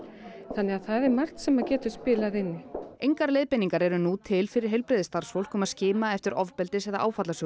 þannig að það er margt sem getur spilað inn í engar leiðbeiningar eru nú til fyrir heilbrigðisstarfsfólk um að skima eftir ofbeldis eða